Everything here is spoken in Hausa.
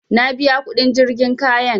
Na biya kuɗin jirgin kayan